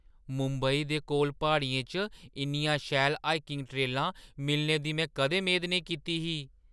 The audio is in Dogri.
मुंबई दे कोल प्हाड़ियें च इन्नियां शैल हाइकिंग ट्रेलां मिलने दी में कदें मेद नेईं कीती ही।